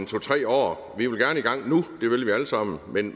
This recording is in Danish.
to tre år vi vil gerne i gang nu det vil vi alle sammen men